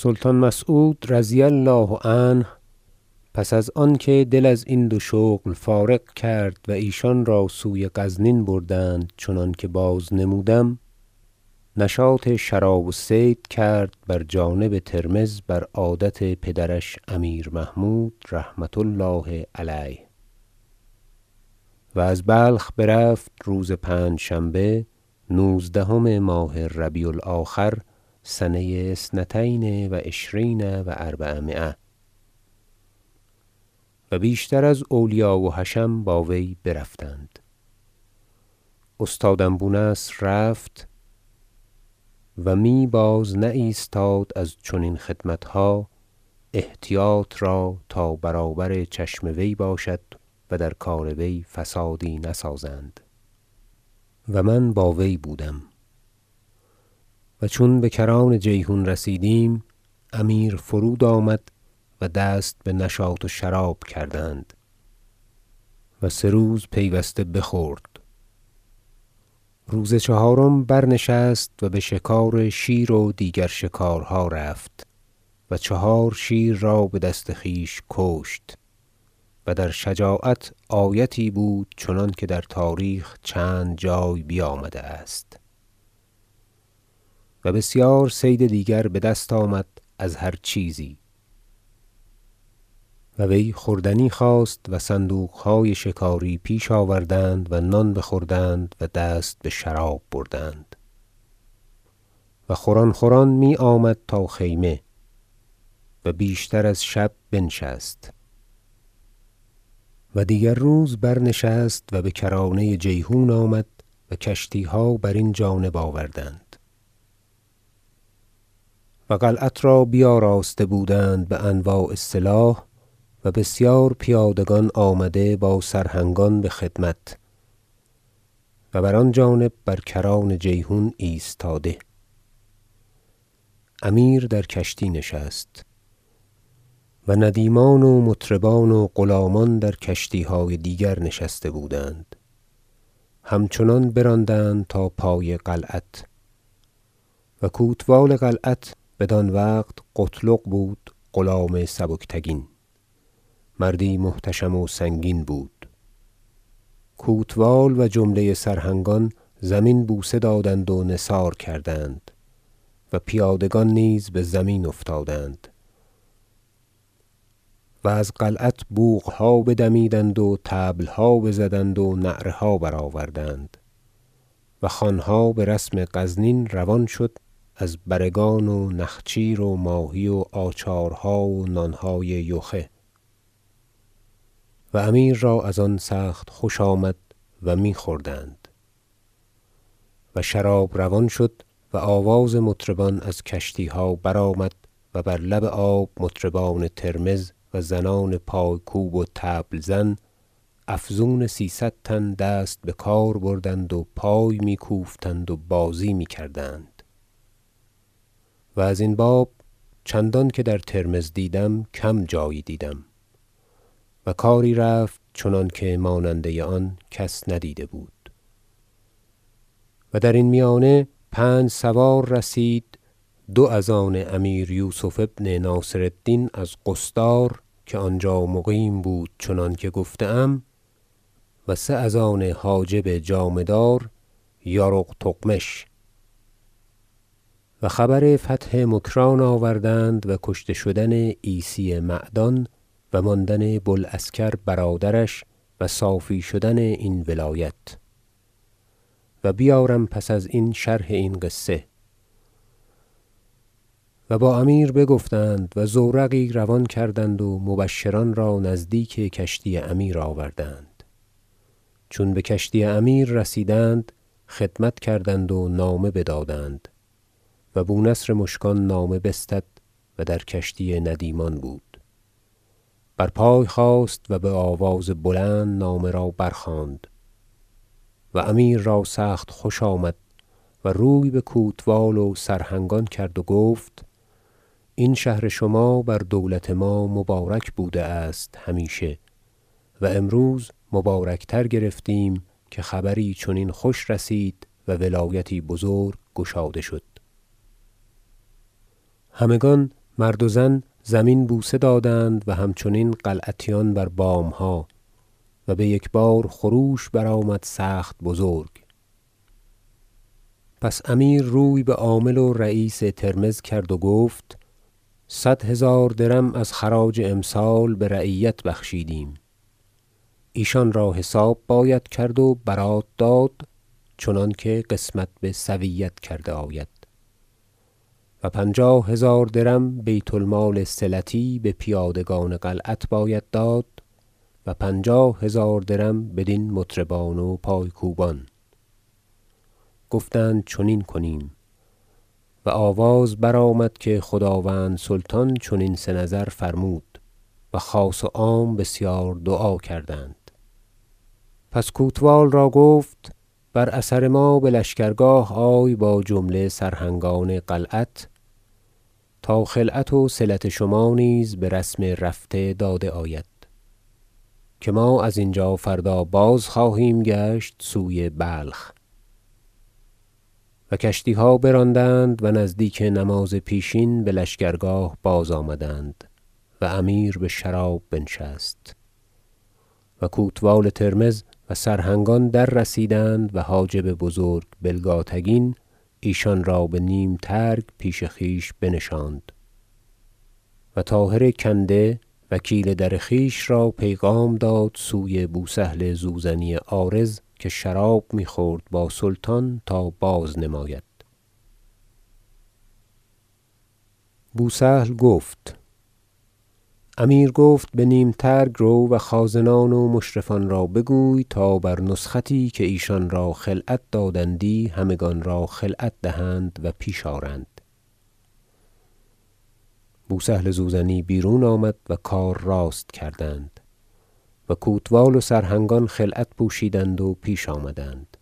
سلطان مسعود رضی الله عنه پس از آنکه دل ازین دو شغل فارغ کرد و ایشان را سوی غزنین بردند چنانکه بازنمودم نشاط شراب و صید کرد بر جانب ترمذ بر عادت پدرش امیر محمود رحمة الله علیه و از بلخ برفت روز پنجشنبه نوزدهم ماه ربیع الآخر سنه اثنتین و عشرین و اربعمایه و بیشتر از اولیا و حشم با وی برفتند استادم بو نصر رفت- و می بازنایستاد از چنین خدمتها احتیاط را تا برابر چشم وی باشد و در کار وی فسادی نسازند- و من با وی بودم و چون بکران جیحون رسیدیم امیر فرود آمد و دست بنشاط و شراب کردند و سه روز پیوسته بخورد روز چهارم برنشست و بشکار شیر و دیگر شکارها رفت و چهار شیر را بدست خویش کشت- و در شجاعت آیتی بود چنانکه در تاریخ چند جای بیامده است- و بسیار صید دیگر بدست آمد از هر چیزی و وی خوردنی خواست و صندوقهای شکاری پیش آوردند و نان بخوردند و دست بشراب بردند و خوران خوران می آمد تا خیمه و بیشتر از شب بنشست و دیگر روز برنشست و بکرانه جیحون آمد و کشتیها برین جانب آوردند و قلعت را بیاراسته بودند بانواع سلاح و بسیار پیادگان آمده با سرهنگان بخدمت و بر آن جانب بر کران جیحون ایستاده امیر در کشتی نشست و ندیمان و مطربان و غلامان در کشتیهای دیگر نشسته بودند همچنان براندند تا پای قلعت- و کوتوال قلعت بدان وقت قتلغ بود غلام سبکتگین مردی محتشم و سنگین بود- کوتوال و جمله سرهنگان زمین بوسه دادند و نثار کردند و پیادگان نیز بزمین افتادند و از قلعت بوقها بدمیدند و طبلها بزدند و نعره ها برآوردند و خوانها برسم غزنین روان شد از بره گان و نخچیر و ماهی و آچارها و نانهای یخه و امیر را از آن سخت خوش آمد و میخوردند و شراب روان شد و آواز مطربان از کشتیها برآمد و بر لب آب مطربان ترمذ و زنان پای کوب و طبل زن افزون سیصد تن دست بکار بردند و پای می کوفتند و بازی می کردند- و ازین باب چندان که در ترمذ دیدم کم جایی دیدم- و کاری رفت چنانکه ماننده آن کس ندیده بود و درین میانه پنج سوار رسید دو از آن امیر یوسف ابن ناصر الدین از قصدار که آنجا مقیم بود چنانکه گفته ام و سه از آن حاجب جامه دار یارق تغمش و خبر فتح مکران آوردند و کشته شدن عیسی معدان و ماندن بو العسکر برادرش و صافی شدن این ولایت- و بیارم پس از این شرح این قصه- و با امیر بگفتند و زورقی روان کردند و مبشران را نزدیک کشتی امیر آوردند چون بکشتی امیر رسیدند خدمت کردند و نامه بدادند و بو نصر مشکان نامه بستد- و در کشتی ندیمان بود- برپای خاست و بآواز بلند نامه را برخواند و امیر را سخت خوش آمد و روی بکوتوال و سرهنگان کرد و گفت این شهر شما بر دولت ما مبارک بوده است همیشه و امروز مبارک تر گرفتیم که خبری چنین خوش رسید و ولایتی بزرگ گشاده شد همگان مرد و زن زمین بوسه دادند و همچنین قلعتیان بر بامها و بیک بار خروش برآمد سخت بزرگ پس امیر روی بعامل و رییس ترمذ کرد و گفت صد هزار درم از خراج امسال برعیت بخشیدیم ایشان را حساب باید کرد و برات داد چنانکه قسمت بسویت کرده آید و پنجاه هزار درم بیت المال صلتی به پیادگان قلعت باید داد و پنجاه هزار درم بدین مطربان و پای کوبان گفتند چنین کنیم و آواز برآمد که خداوند سلطان چنین سه نظر فرمود و خاص و عام بسیار دعا کردند پس کوتوال را گفت بر اثر ما بلشکرگاه آی با جمله سرهنگان قلعت تا خلعت وصلت شما نیز برسم رفته داده آید که ما از اینجا فردا بازخواهیم گشت سوی بلخ و کشتیها براندند و نزدیک نماز پیشین بلشکرگاه بازآمدند و امیر بشراب بنشست و کوتوال ترمذ و سرهنگان دررسیدند و حاجب بزرگ بلگاتگین ایشان را به نیم ترگ پیش خویش بنشاند و طاهر کنده وکیل در خویش را پیغام داد سوی بو سهل زوزنی عارض که شراب میخورد با سلطان تا بازنماید بو سهل بگفت امیر گفت بنیم ترگ رو و خازنان و مشرفان را بگوی تا بر نسختی که ایشانرا خلعت دادندی همگان را خلعت دهند و پیش آرند بو سهل زوزنی بیرون آمد و کار راست کردند و کوتوال و سرهنگان خلعت پوشیدند و پیش آمدند